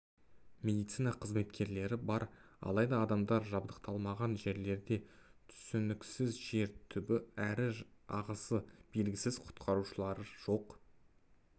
медицина қызметкерлері бар алайда адамдар жабдықталмаған жерлерде түсініксіз жер түбі әрі ағысы белгісіз құтқарушылар жоқ